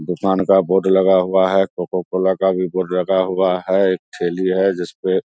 दुकान का बोर्ड लगा हुआ है कोको कोला का भी बोर्ड लगा हुआ है एक ठेली है जिसपे --